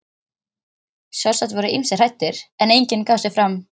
Sjálfsagt voru ýmsir hræddir, en enginn gaf sig fram.